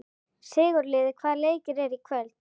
Sigurliði, hvaða leikir eru í kvöld?